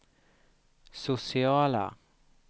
sociala